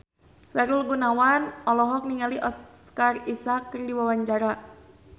Sahrul Gunawan olohok ningali Oscar Isaac keur diwawancara